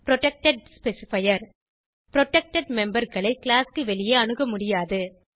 protected specifier protected memberகளை class க்கு வெளியே அணுக முடியாது